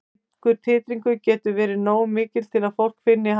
Slíkur titringur getur verið nógu mikill til að fólk finni hann.